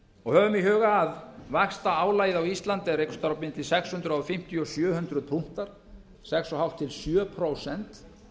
og höfum í huga að vaxtaálagið á íslandi er einhvers staðar á milli sex hundruð fimmtíu og sjö hundruð punktar sex og hálft til sjö prósent